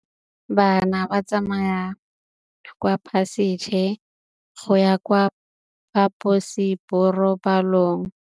Bana ba tsamaya ka phašitshe go ya kwa phaposiborobalong.